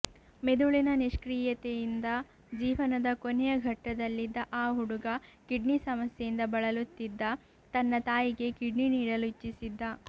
ಮೆದುಳಿನ ನಿಷ್ಕ್ರೀಯತೆಯಿಂದ ಜೀವನದ ಕೊನೆಯ ಘಟ್ಟದಲ್ಲಿದ್ದ ಆ ಹುಡುಗ ಕಿಡ್ನಿ ಸಮಸ್ಯೆಯಿಂದ ಬಳಲುತ್ತಿದ್ದ ತನ್ನ ತಾಯಿಗೆ ಕಿಡ್ನಿ ನೀಡಲು ಇಚ್ಛಿಸಿದ